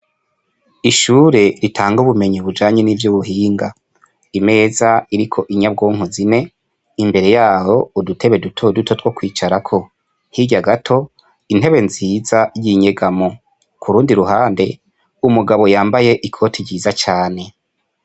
Ishure itanga ubumenyi ijanye n'ubuhinga, imeza iriko inyagoma zine imbere yaho udutebe dutoduto twokwicarako hirya gato intebe nziza y'inyegamo kurundi ruhande umugabo yambaye ikoti ryiza cane.